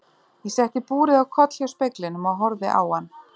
Ég setti búrið á koll hjá speglinum og horfði á hann.